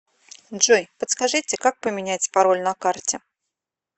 джой подскажите как поменять пароль на карте